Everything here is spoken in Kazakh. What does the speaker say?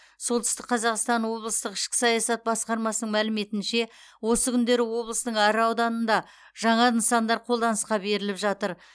солтүстік қазақстан облыстық ішкі саясат басқармасының мәліметінше осы күндері облыстың әр ауданында жаңа нысандар қолданысқа беріліп жатыр